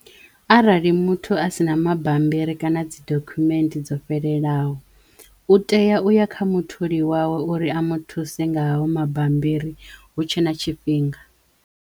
Arali muthu a si na mabambiri kana dzi dokhumenthe dzo fhelelaho u teya u ya kha mutholi wawe uri a muthuse nga hayo mabambiri hu tshe na tshifhinga.